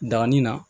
Danni na